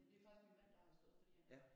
Det er faktisk min mand der har stået for det